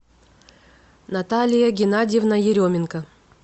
наталья геннадьевна еременко